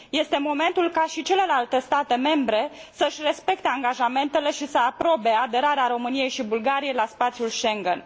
Este momentul ca și celelalte state membre să își respecte angajamentele și să aprobe aderarea României și Bulgariei la spațiul Schengen.